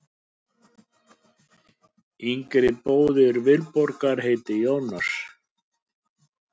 Yngri bróðir Vilborgar heitir Jónas.